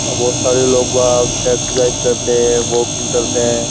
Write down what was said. और बहुत सारे लोग वाक एक्सरसाइज करते हैं वॉकिंग करते हैं।